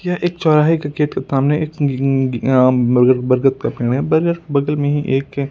यह एक चौराहे के खेत के सामने एक गींगी अम् बरगर बरगद का पेड़ है बरगद बगल में ही एक के--